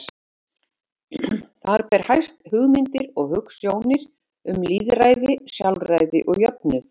Þar ber hæst hugmyndir og hugsjónir um lýðræði, sjálfræði og jöfnuð.